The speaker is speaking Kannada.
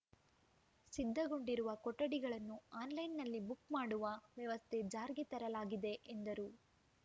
ಸಿದ್ಧಗೊಂಡಿರುವ ಕೊಠಡಿಗಳನ್ನು ಆನ್‌ಲೈನ್‌ನಲ್ಲಿ ಬುಕ್‌ ಮಾಡುವ ವ್ಯವಸ್ಥೆ ಜಾರಿಗೆ ತರಲಾಗಿದೆ ಎಂದರು